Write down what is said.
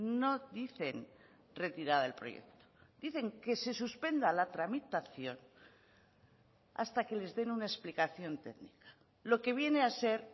no dicen retirada del proyecto dicen que se suspenda la tramitación hasta que les den una explicación técnica lo que viene a ser